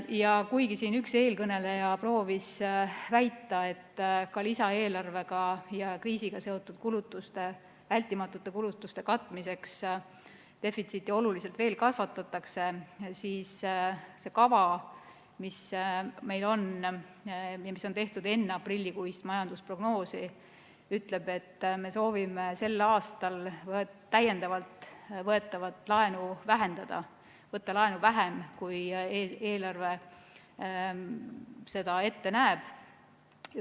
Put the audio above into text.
Ja kuigi siin üks eelkõneleja proovis väita, et ka lisaeelarvega ja kriisiga seotud vältimatute kulutuste katmiseks defitsiiti oluliselt veel kasvatatakse, siis see kava, mis meil on ja mis on tehtud enne aprillikuist majandusprognoosi, ütleb, et me soovime sel aastal täiendavalt võetavat laenu vähendada, võtta laenu vähem, kui eelarve seda ette näeb.